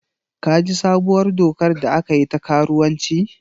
Ka ji sabuwar dokar da aka yi ta karuwanci?